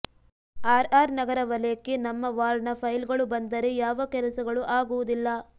ಆರ್ಆರ್ನಗರ ವಲಯಕ್ಕೆ ನಮ್ಮ ವಾರ್ಡ್ನ ಫೈಲ್ಗಳು ಬಂದರೆ ಯಾವ ಕೆಲಸಗಳು ಆಗುವುದಿಲ್ಲ